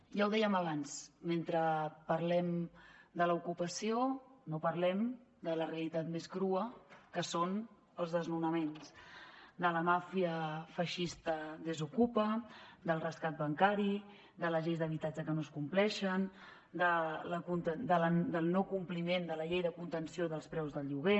ja ho dèiem abans mentre parlem de l’ocupació no parlem de la realitat més crua que són els desnonaments de la màfia feixista desokupa del rescat bancari de les lleis d’habitatge que no es compleixen del no compliment de la llei de contenció dels preus del lloguer